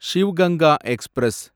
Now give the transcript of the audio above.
Shiv Ganga express